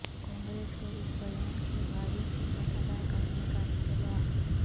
کانگریس کو اس بیان کی بھاری قیمت ادا کرنے کا انتباہ